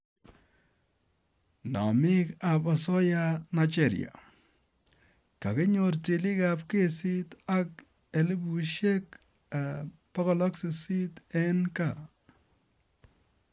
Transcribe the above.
Namik ap asoya Nigeria: Kokinyor tilik ap kesit ak $800,000 ing kaa.